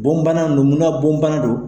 Bon bana ninnu, muna bon bana don ?